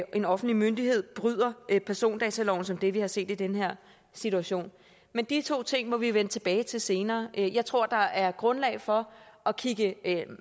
en offentlig myndighed bryder persondataloven som det vi har set i den her situation men de to ting må vi vende tilbage til senere jeg tror der er grundlag for at kigge